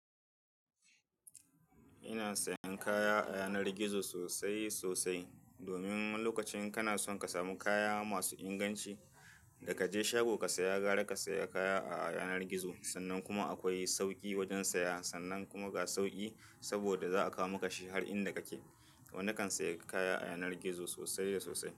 Ina sayan kaya a yanar gizo sosai sosai domin lokacin kana son ka samu kaya masu inganci da ka je shago ka saya, gara ka saya kaya a yanar gizo. Sannan kuma akwai sauki wajen saya, sannan kuma ga sauki saboda za a kawo maka shi har inda kake. Wani kan saya kaya a yanar gizo sosai da sosai.